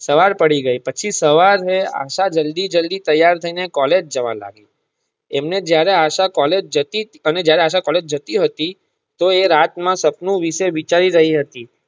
સવાર પડી ગઈ પછી સવારે આશા જલદી~જલદી તૈયાર થઇ ને કૉલેજ જવા લાગી એમને જયારે આશા કૉલેજ જતી અને એમને જયારે આશા કૉલેજ જતી હતી તો એ રાત ના સપનું વિષે વિચારી રહી હતી.